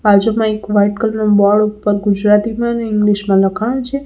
બાજુમાં એક white colour ના બોર્ડ ઉપર ગુજરાતીમાં અને ઇંગ્લિશમાં લખાણ છે.